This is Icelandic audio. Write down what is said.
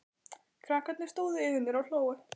Krakkarnir stóðu yfir mér og hlógu.